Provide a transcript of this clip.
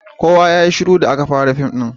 Kowa yayi shiru da aka fara fim ɗin.